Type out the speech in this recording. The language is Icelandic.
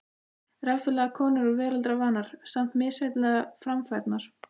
Reffilegar konur og veraldarvanar, samt misjafnlega framfærnar.